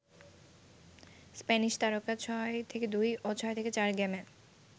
Spanish তারকা ৬-২ ও ৬-৪ গেমে